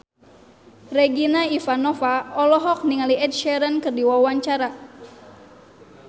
Regina Ivanova olohok ningali Ed Sheeran keur diwawancara